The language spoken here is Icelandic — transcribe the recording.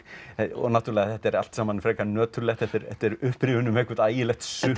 og náttúrulega þetta er allt saman frekar nöturlegt þetta er upprifjun um eitthvert ægilegt sukk